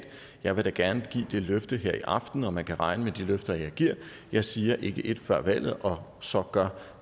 jeg vil da gerne give det løfte her i aften og man kan regne med de løfter jeg giver jeg siger ikke et før valget og så gør